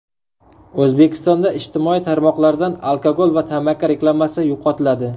O‘zbekistonda ijtimoiy tarmoqlardan alkogol va tamaki reklamasi yo‘qotiladi .